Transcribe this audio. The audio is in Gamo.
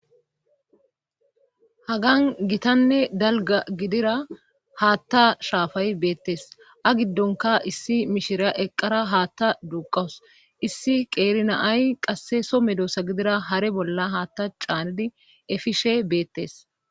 Hagan gitanne dalga gidira haatta shaafay beettes a giddonka issi mishira eqqara haatta duuqawus issi qeerina ay qasse so medoossa gidira hare bolla haatta caanidi efishe beettes.